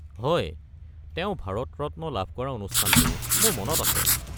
হয়, তেওঁ ভাৰত ৰত্ন লাভ কৰা অনুষ্ঠানটো মোৰ মনত আছে।